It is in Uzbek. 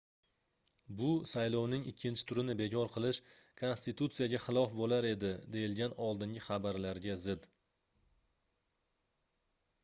bu saylovning ikkinchi turini bekor qilish konstitutsiyaga xilof boʻlar edi deyilgan oldingi xabarlarga zid